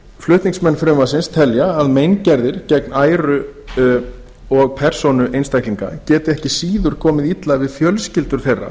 flutningsmenn frumvarpsins telja að meingerðir gegn æru og persónu einstaklinga geti ekki síður komið illa við fjölskyldur þeirra